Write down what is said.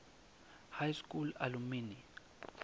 high school alumni